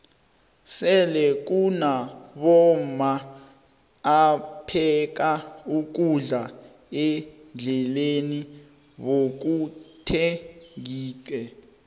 sele kunabomma apheka ukudla endleleni bakuthengixe